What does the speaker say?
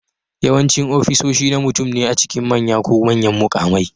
Yawancin ofisoshi na mutum ne a cikin manya ko manyan mukamai